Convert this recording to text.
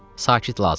Sakit lazımdır.